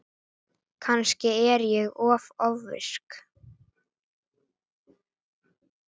Kannski er ég ofvirk.